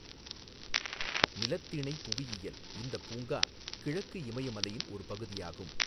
நிலத்திணைப் புவியியல் இந்தப் பூங்கா கிழக்கு இமயமலையின் ஒரு பகுதியாகும்.